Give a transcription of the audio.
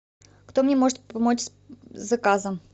кто мне может помочь с заказом